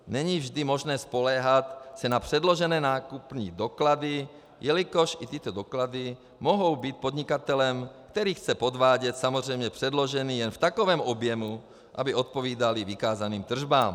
Není vždy možné spoléhat se na předložené nákupní doklady, jelikož i tyto doklady mohou být podnikatelem, který chce podvádět, samozřejmě předloženy jen v takovém objemu, aby odpovídaly vykázaným tržbám.